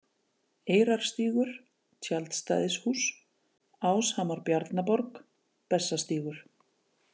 Eyrarstígur, Tjaldstæðishús, Áshamar Bjarnaborg, Bessastígur